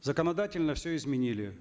законодательно все изменили